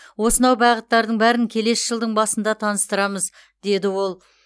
осынау бағыттардың бәрін келесі жылдың басында таныстырамыз деді ол